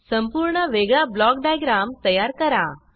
संपूर्ण वेगळा block diagram तयार करा